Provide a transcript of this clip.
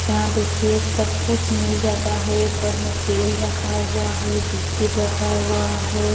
यहां देखिए सब कुछ मिल जाता है ऊपर में तेल रखा हुआ है बिस्किट रखा हुआ है।